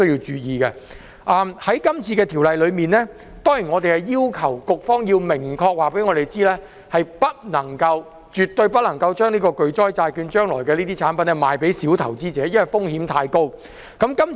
在有關這條例草案，議員要求局方要明確告訴我們，不能夠——絕對不能夠——將巨災債券的產品售予小投資者，因為風險太高。